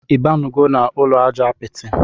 Ibinugo na ụlọ aja apiti?